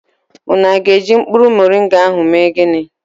Unu aga eji mkpuru moringa ahụ eme ginị